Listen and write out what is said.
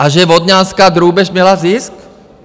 A že Vodňanská drůbež měla zisk?